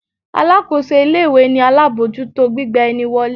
Alákóso ilé-ìwé ni alábòójútó gbigba ni wọlé.